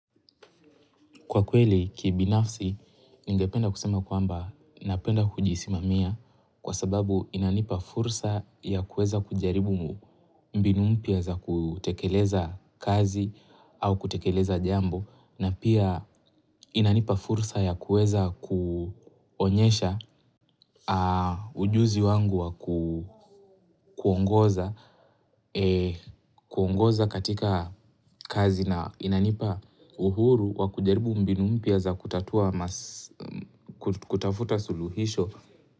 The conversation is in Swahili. Kwa kweli, ki binafsi, ningependa kusema kwamba napenda kujisimamia kwa sababu inanipa fursa ya kueza kujaribu mbinu mpya za kutekeleza kazi au kutekeleza jambo. Na pia inanipa fursa ya kuweza kuonyesha ujuzi wangu wa kuongoza katika kazi na inanipa uhuru wa kujaribu mbinu mpya za kutatua kutafuta suluhisho.